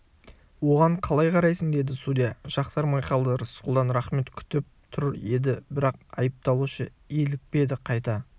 оған қалай қарайсың деді судья жақтырмай қалды рысқұлдан рақмет күтіп тұр еді бірақ айыпталушы илікпеді қайта